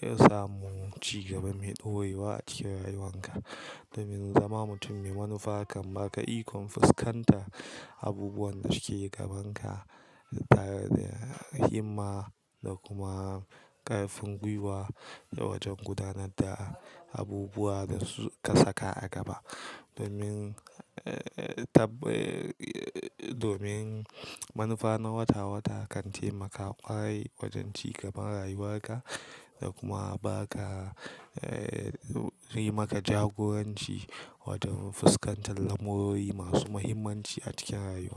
samo cigaba mai ɗorewa a cikin rayuwarka. Domin zama mutum mai manufa kan baka ikon fuskantan abubuwan da suke gaban ka tare da himma da kuma ƙarfin gwiwa da wajen gudanar da abubuwa dasu ka saka a gaba. Domin, eh, eh, tab, eh, domin manufa na wata-wata kan taimaka ƙwarai wajen cigaban rayuwarka da kuma ba ka, eh, yi maka jagoranci wajen fuskantar lamurori masu muhimmanci a cikin rayuwa.